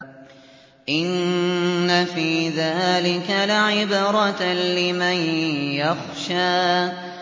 إِنَّ فِي ذَٰلِكَ لَعِبْرَةً لِّمَن يَخْشَىٰ